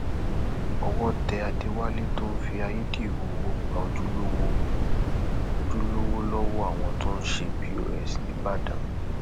owó tẹ àdéwálé tó ń fi ayédèrú owó gba ojúlówó lọwọ àwọn tó ń ṣe pọs níbàdàn